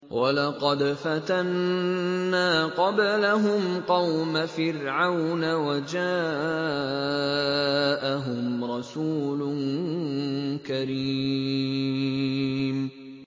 ۞ وَلَقَدْ فَتَنَّا قَبْلَهُمْ قَوْمَ فِرْعَوْنَ وَجَاءَهُمْ رَسُولٌ كَرِيمٌ